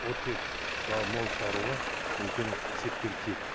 ол тек мол шығаруға үлкен септігі тиеді